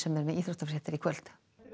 er með íþróttafréttir í kvöld